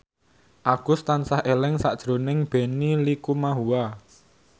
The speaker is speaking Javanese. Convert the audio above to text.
Agus tansah eling sakjroning Benny Likumahua